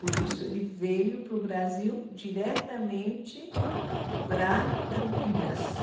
Por isso, ele veio para o Brasil diretamente para Campinas.